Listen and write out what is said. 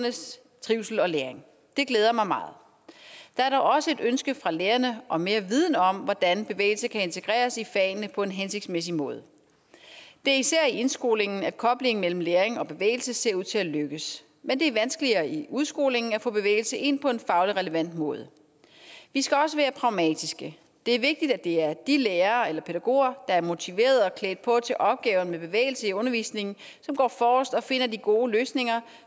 trivsel og læring det glæder mig meget der er dog også et ønske fra lærerne om mere viden om hvordan bevægelse kan integreres i fagene på en hensigtsmæssig måde det er især i indskolingen at koblingen mellem læring og bevægelse ser ud til at lykkes men det er vanskeligere i udskolingen at få bevægelse ind på en faglig relevant måde vi skal også være pragmatiske det er vigtigt at det er de lærere eller pædagoger der er motiverede og klædt på til opgaven med bevægelse i undervisningen som går forrest og finder de gode løsninger